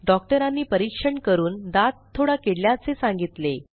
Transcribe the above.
डॉक्टरांनी परीक्षण करून दात थोडा किडल्याचे सांगितले